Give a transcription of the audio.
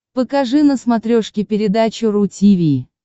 покажи на смотрешке передачу ру ти ви